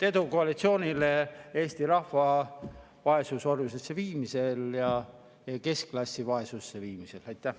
Edu koalitsioonile Eesti rahva vaesusorjusesse viimisel ja keskklassi vaesusse viimisel!